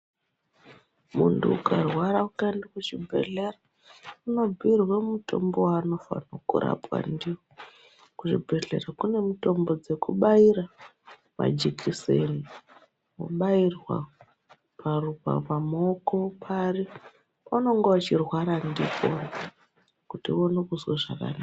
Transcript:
Muntu ukarwara ukaenda kuzvibhedhlera unobhiirwa mitombo yaunofanirwa kurapwa ndiyo kuchibhedhlera kunemitombo yekubaira majikiseni kubairwa pamuoko pari paunenge uchirwara ndipo kuti uone kunzwa zvakanaka.